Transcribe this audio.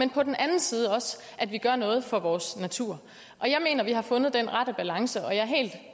på den anden side også gør noget for vores natur og jeg mener at vi har fundet den rette balance og